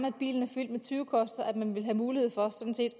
at bilen er fyldt med tyvekoster at man vil have mulighed for